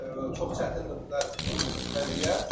Çox çətindir burda vəziyyət.